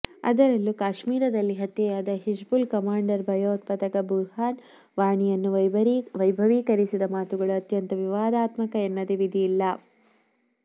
ಅದರಲ್ಲೂ ಕಾಶ್ಮೀರದಲ್ಲಿ ಹತ್ಯೆಯಾದ ಹಿಜ್ಬುಲ್ ಕಮಾಂಡರ್ ಭಯೋತ್ಪಾದಕ ಬುರ್ಹಾನ್ ವಾನಿಯನ್ನು ವೈಭವೀಕರಿಸಿದ ಮಾತುಗಳು ಅತ್ಯಂತ ವಿವಾದಾತ್ಮಕ ಎನ್ನದೇ ವಿಧಿ ಇಲ್ಲ